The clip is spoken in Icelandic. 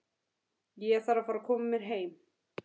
Ég þarf að fara að koma mér heim.